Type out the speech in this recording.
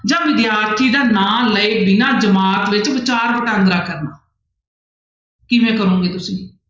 ਜਾਂ ਵਿਦਿਆਰਥੀ ਦਾ ਨਾਂ ਲਏ ਬਿਨਾਂ ਜਮਾਤ ਵਿੱਚ ਵਿਚਾਰ ਵਟਾਂਦਰਾ ਕਰਨਾ ਕਿਵੇਂ ਕਰੋਂਗੇ ਤੁਸੀਂ?